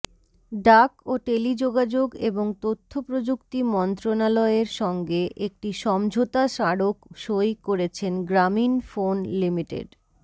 ডাক ও টেলিযোগাযোগ এবং তথ্যপ্রযুক্তি মন্ত্রণালয়ের সঙ্গে একটি সমঝোতা স্মারক সই করেছে গ্রামীণফোন লিমিটেড